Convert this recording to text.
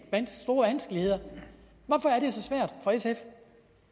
store vanskeligheder så